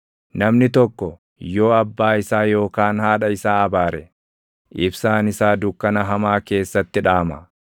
Namni tokko yoo abbaa isaa yookaan haadha isaa abaare, ibsaan isaa dukkana hamaa keessatti dhaama.